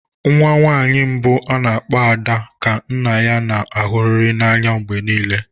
Nwa nwanyị mbụ a na-akpọ "Ada" ka nna ya ga-ahụrịrị n'anya mgbe niile